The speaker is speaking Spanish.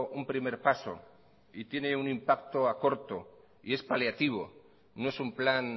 un primer paso y tiene un impacto a corto y es paliativo no es un plan